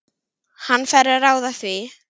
Hann fær að ráða því.